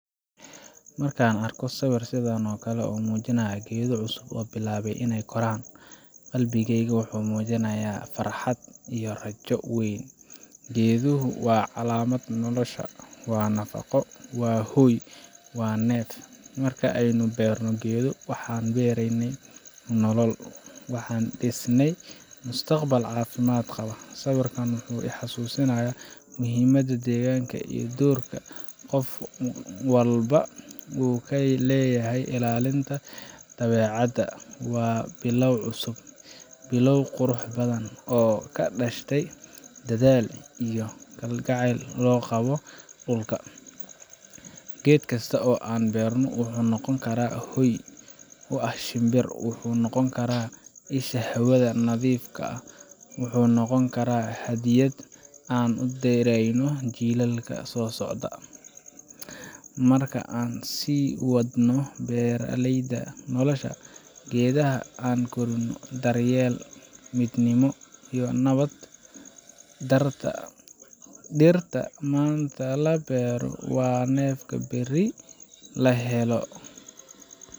Markaan arko sawir sidan oo kale ah oo muujinaya geedo cusub oo bilaabaya inay koraan, qalbigayga wuxuu dareemayaa farxad iyo rajo weyn. Geeduhu waa calaamadda nolosha, waa nafaqo, waa hoy, waa neef. Marka aynu beerno geedo, waxaan beereynaa nolol, waxaan dhiseynaa mustaqbal caafimaad qaba. Sawirkani wuxuu ii xasuusinayaa muhiimada deegaanka iyo doorka qof walba uu ku leeyahay ilaalinta dabeecadda. Waa bilow cusub bilow qurux badan oo ka dhashay dadaal iyo jacayl loo qabo dhulka. Geed kasta oo aan beerno wuxuu noqon karaa hooy u ah shimbir, wuxuu noqon karaa isha hawada nadiifka ah, wuxuu noqon karaa hadiyad aan u direyno jiilalka soo socda. Marka, aan sii wadno beeraleyda nolosha geedaha. Aan korino daryeel, midnimo, iyo nabad. Dhirta maanta la beero waa neefka berri la helo.